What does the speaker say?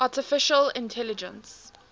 artificial intelligence